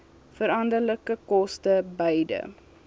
veranderlike koste beide